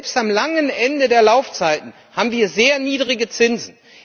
Selbst am langen Ende der Laufzeiten haben wir sehr niedrige Zinsen.